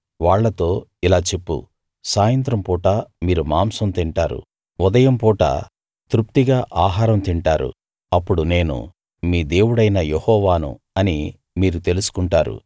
వాళ్ళతో ఇలా చెప్పు సాయంత్రం పూట మీరు మాంసం తింటారు ఉదయం పూట తృప్తిగా ఆహారం తింటారు అప్పుడు నేను మీ దేవుడైన యెహోవాను అని మీరు తెలుసుకుంటారు